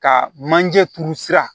Ka manje turu sira